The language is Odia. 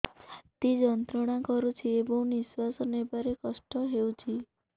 ଛାତି ଯନ୍ତ୍ରଣା କରୁଛି ଏବଂ ନିଶ୍ୱାସ ନେବାରେ କଷ୍ଟ ହେଉଛି